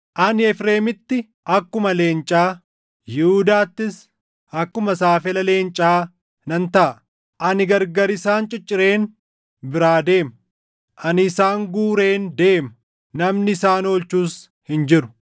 Ani Efreemitti akkuma leencaa, Yihuudaattis akkuma saafela leencaa nan taʼa. Ani gargar isaan ciccireen biraa deema; ani isaan guureen deema; namni isaan oolchus hin jiru.